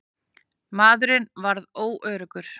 Maðurinn varð óöruggur.